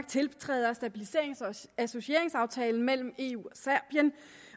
tiltræde stabiliserings og associeringsaftalen mellem eu